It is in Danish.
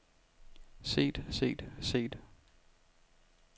set set set